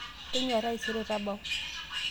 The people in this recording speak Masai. tonyua taisere tabau